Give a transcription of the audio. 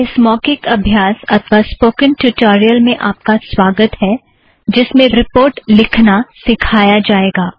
इस मौखिक अभ्यास अथ्वा स्पोकन ट्युटोरियल में आप का स्वागत है जिस में रिपोर्ट लिखना सिखाया जाएगा